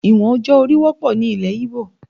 Ìwọ̀n ọjọ́ orí wọ́pọ̀ ni ilẹ̀ Igbo.